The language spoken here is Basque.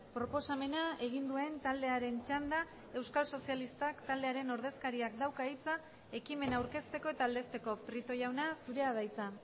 proposamena egin duen taldearen txanda euskal sozialistak taldearen ordezkariak dauka hitza ekimena aurkezteko eta aldezteko prieto jauna zurea da hitza